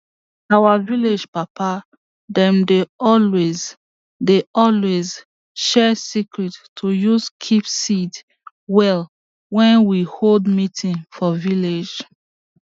our vilage papa dem dey always dey always share secret to use keep seed well wen we hold meeting for village